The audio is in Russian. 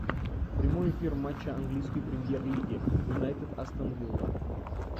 прямой эфир матча английской премьер лиги юнайтед астон вилла